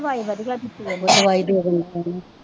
ਹਾਂ ਦਿਵਾਈ ਵਧੀਆ ਦਿੱਤੀਓ ਆਹੋ ਦਿਵਾਈ ,